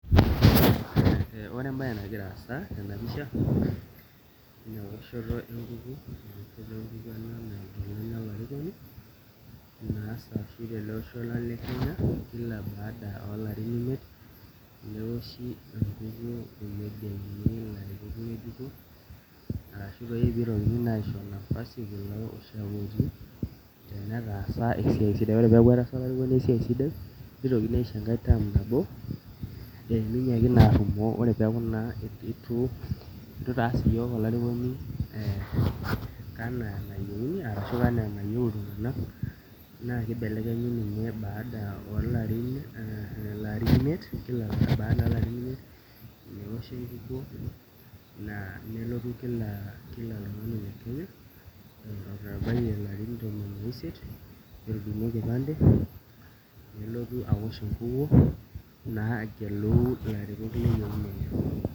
Ore embaye nagira aasa tena pisha naa eoshoto enkukuo nageluni olarikoni naasa oshi tele osho lang' le Kenya kila baada oolarin imiet newoshi enkukuo negeluni ilarikok ng'ejuko arashunitokini aisho nafasi kulo ooshiake otii tenetaasa esiai sidai ore peeku etaasa olarikoni esiai sidai nitokini aisho enkae term nabo meinyiaki naa arrumoo ore pee eku itu itaas iyiook olarikoni ee enaa enayieu iltung'anak naa kibelekenyi ninye baada imiet, neoshi enkukuo aa nelotu kila oltung'ani oloitabayie ilarin tomon oisiet, netudung'o enkipande, nelotu aosh enkukuo naa agelu ilarikok leyieuna enye.